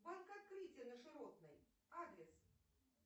банк открытие на широтной адрес